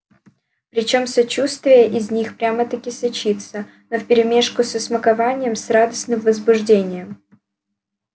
причём сочувствие из них прямо-таки сочится но вперемешку со смакованием с радостным возбуждением